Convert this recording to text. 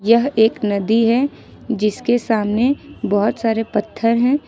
यह एक नदी है जिसके सामने बहोत सारे पत्थर हैं।